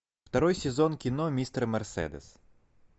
второй сезон кино мистер мерседес